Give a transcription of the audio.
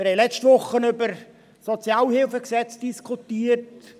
Wir haben letzte Woche über das SHG diskutiert.